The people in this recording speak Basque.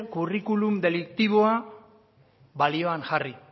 kurrikulun deliktiboa balioan jarri